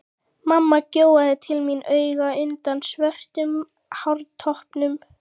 Mamma gjóaði til mín auga undan svörtum hártoppnum.